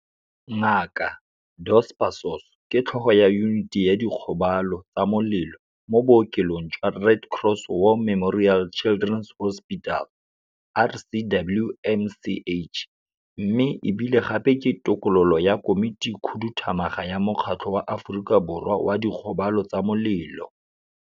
Ngaka Dos Passos ke Tlhogo ya Yuniti ya Dikgobalo tsa Molelo mo bookelong jwa Red Cross War Memorial Children's Hospital, RCWMCH, mme e bile gape ke tokololo ya Komitikhuduthamaga ya Mokgatlho wa Aforika Borwa wa Dikgobalo tsa Molelo.